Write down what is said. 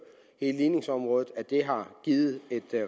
hele ligningsområdet har givet et